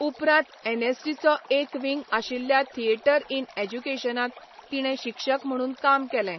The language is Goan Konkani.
उपरांत एनएसडीचो एक विंग आशिल्ल्या थिएटर इन एज्युकेशनांत तिणें शिक्षक म्हणून काम केलें.